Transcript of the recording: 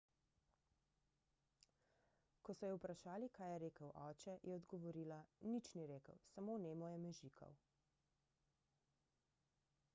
ko so jo vprašali kaj je rekel oče je odgovorila nič ni rekel samo nemo je mežikal